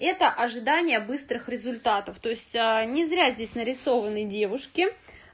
это ожидание быстрых результатов то есть не зря здесь нарисованы девушки